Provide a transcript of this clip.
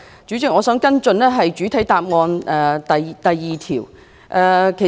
主席，我想跟進主體答覆第二部分。